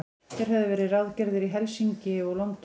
Þeir höfðu verið ráðgerðir í Helsinki og London.